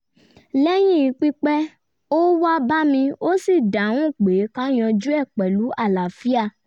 lẹ́yìn pípẹ́ ó wá bá mi ó sì dáhùn pé ká yanjú e pẹ̀lú àlàáfíà